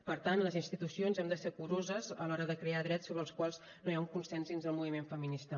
per tant les institucions hem de ser curoses a l’hora de crear drets sobre els quals no hi ha un consens dins del moviment feminista